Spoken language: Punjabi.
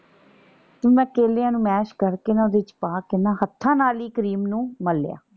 ਮੈਂ ਕੇਲੇਆਂ ਨੂੰ ਮੈਸ਼ ਕਰਕੇ ਨਾ ਓਹਦੇ ਚ ਪਾ ਕੇ ਨਾ ਹੱਥਾਂ ਨਾਲ ਹੀ ਕਰੀਮ ਨੂੰ ਮਲੇਆ।